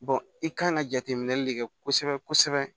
i kan ka jateminɛli de kɛ kosɛbɛ kosɛbɛ